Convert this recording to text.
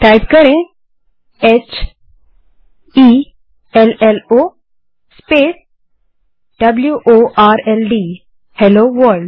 type करें hello world h e l l O w o r l D